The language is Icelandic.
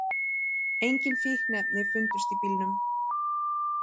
Engin fíkniefni fundust í bílnum